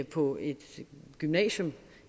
på et gymnasium